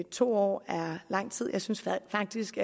to år er lang tid jeg synes faktisk